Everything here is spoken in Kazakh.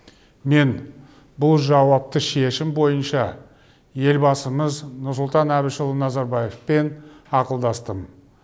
мен бұл жауапты шешім бойынша елбасымыз нұрсұлтан әбішұлы назарбаевпен ақылдастым